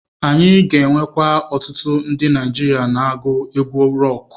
Anyị ga-enwekwu ọtụtụ ndi Naijiria na-agu egwu rọkụ.